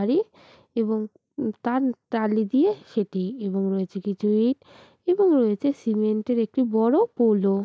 আরে এবং উম তার টালি দিয়ে সেটি এবং রয়েছে কিছু ইট এবং রয়েছে সিমেন্ট -এর একটি বড় পোল - ও।